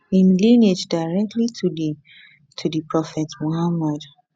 im lineage directly to di to di prophet muhammad